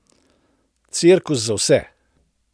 Cirkus za vse!